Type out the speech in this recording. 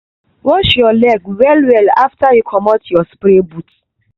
wash your leg well well after you commot your spray boot.